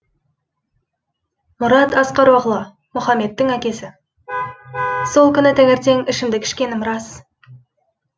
мұрат асқароғлы мұхамедтің әкесі сол күні таңертең ішімдік ішкенім рас